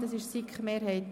Ich bitte Sie um Ruhe.